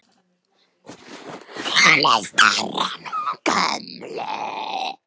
Hún er stærri en sú gamla.